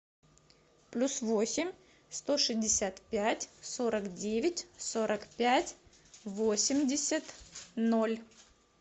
плюс восемь сто шестьдесят пять сорок девять сорок пять восемьдесят ноль